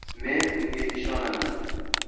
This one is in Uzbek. “Men unga ishonaman.